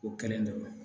O kelen dɔrɔn